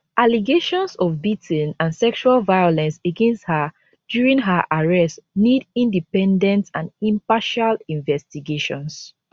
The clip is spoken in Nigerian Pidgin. allegations of beating and sexual violence against her during her arrest nid independent and impartial investigations